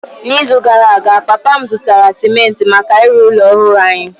N’izu gara aga, papa m zụtara simenti maka ịrụ ụlọ ọhụrụ anyị.